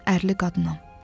Mən ərli qadınam.